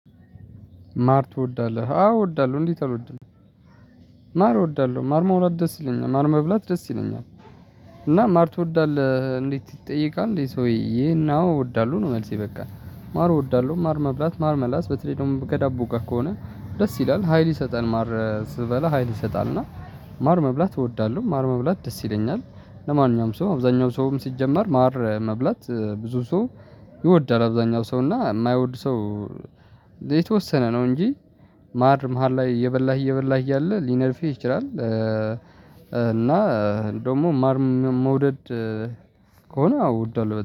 ማር ትወዳለህ? አዎ እወዳለሁ። እንዴት አልወድም? ማር እወዳለሁ ማር መብላት ደስ ይለኛል ማር መብላት ደስ ይለኛል እና ማር ትወዳለህ እንዴት ይጠየቃል እንዴ ሰውዬ ይሄን አዎ እወዳለሁ ነው መልሴ በቃ ማር እወዳለሁ ማር መብላት ማር መላስ በተለይ ደግሞ በዳቦ ጋር ከሆነ ደስ ይላል ሀይል ይሰጣል ማር ስበላ ሀይል ይሰጣል እና ማር መብላት እወዳለሁ ማር መብላት ደስ ይለኛል ለማንኛውም ሰው አብዛኛው ሰውም ሲጀመር ማር መብላት ብዙ ሰው ይወዳል አብዛኛው ሰው እና የማይወድ ሰው የተወሰነ ነው እንጂ ማር መሃል ላይ እየበላህ እየበላህ እያለ ሊነድፍህ ይችላል እና ደግሞ ማር መውደድ ከሆነ እወዳለሁ